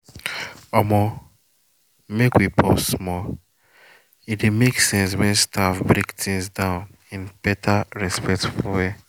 omo make we pause small — e dey make sense when staff break things down in better respectful way.